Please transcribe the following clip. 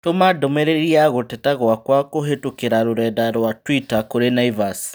Tũma ndũmĩrĩri ya gũteta gwakwa kũhĩtũkĩra rũrenda rũa tũita kũrĩ Naivas